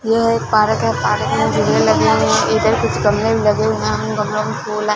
यह एक पारक है पारक में झूले लगे हुए है इधर कुछ गमले भी लगे हुए हैं इन गमलों में फूल है।